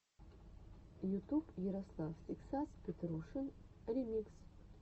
ютуб ярослав тексас петрушин ремикс